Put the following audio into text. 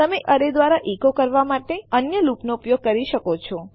તમે એક એરે દ્વારા ઇકો કરવા માટે અન્ય લુપ નો પણ ઉપયોગ કરી શકો છો